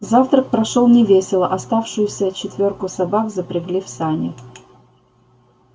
завтрак прошёл невесело оставшуюся четвёрку собак запрягли в сани